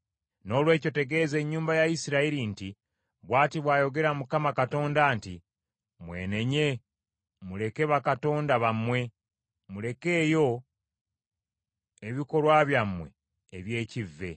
“ ‘Noolwekyo tegeeza ennyumba ya Isirayiri nti, Bw’ati bw’ayogera Mukama Katonda nti, Mwenenye muleke bakatonda bammwe, mulekeyo ebikolwa byammwe eby’ekivve.